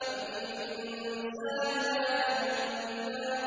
أَمْ لِلْإِنسَانِ مَا تَمَنَّىٰ